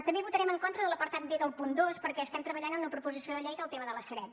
també votarem en contra de l’apartat b del punt dos perquè estem treballant en una proposició de llei del tema de la sareb